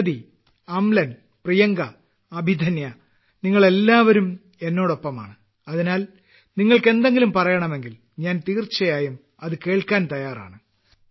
പ്രഗതി അംലൻ പ്രിയങ്ക അഭിധന്യ നിങ്ങളെല്ലാവരും എന്നോടൊപ്പമാണ് അതിനാൽ നിങ്ങൾക്ക് എന്തെങ്കിലും പറയണമെങ്കിൽ ഞാൻ തീർച്ചയായും അത് കേൾക്കാൻ തയ്യാറാണ്